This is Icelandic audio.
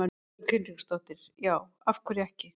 Guðbjörg Hinriksdóttir: Já, af hverju ekki?